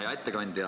Hea ettekandja!